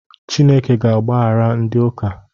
Chineke ga-agbaghara ndị ụka.